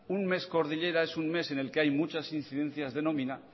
un mes cordillera es un mes en el que hay muchas incidencias de nómina